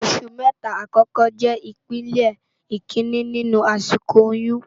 Óṣù mètá àkòkò jè ipélé ikiiní ninú àsikó óyùn